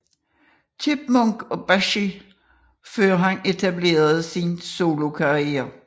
Chipmunk og Bashy før han etablerede sin solokarriere